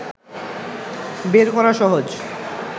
বের করা সহজ